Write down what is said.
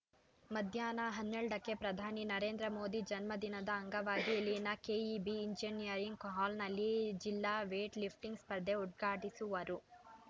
ಮಧ್ಯಾಹ್ನ ಹನ್ನೆಲ್ಡ ಕ್ಕೆ ಪ್ರದಾನಿ ನರೇಂದ್ರ ಮೋದಿ ಜನ್ಮ ದಿನದ ಅಂಗವಾಗಿ ಇಲ್ಲಿನ ಕೆಇಬಿ ಇಂಜಿನಿಯರಿಂಗ್‌ ಹಾಲ್‌ನಲ್ಲಿ ಜಿಲ್ಲಾ ವೇಟ್‌ ಲಿಫ್ಟಿಂಗ್‌ ಸ್ಪರ್ಧೆ ಉದ್ಘಾಟಿಸುವರು